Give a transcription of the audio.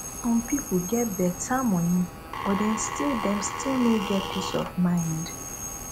some pipo get beta money but dem still dem still no get peace of mind